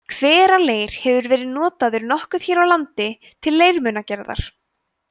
hveraleir hefur verið notaður nokkuð hér á landi til leirmunagerðar